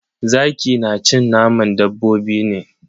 Zaki na cin naman dabbobi ne.